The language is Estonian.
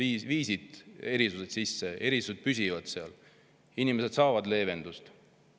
Nad viisid erisused sisse, erisused on püsivad, inimesed saavad leevendust.